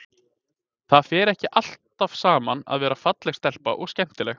Það fer ekki alltaf saman að vera falleg stelpa og skemmtileg.